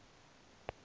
niger river basin